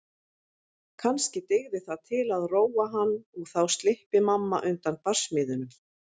Kannski dygði það til að róa hann og þá slyppi mamma undan barsmíðunum.